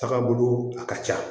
Tagabolo a ka ca